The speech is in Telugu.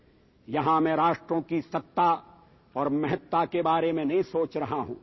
ఇక్కడ నేను దేశాల గురించి వాటి గొప్పదనం గురించి ఆలోచించడం లేదు